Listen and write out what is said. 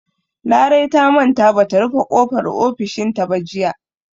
Larai ta manta ba ta rufe ƙofar ofishinta ba jiya.